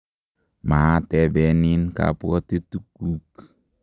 maatebenin kabwotutikuk